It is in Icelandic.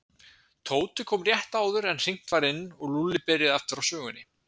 Tóti kom rétt áður en hringt var inn og Lúlli byrjaði aftur á sögunni.